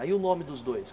Ah e o nome dos dois?